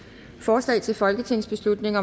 forslaget til folketingsbeslutning